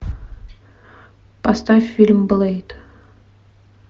поставь фильм блэйд